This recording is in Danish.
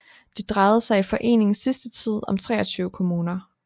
Det drejede sig i foreningens sidste tid om 23 kommuner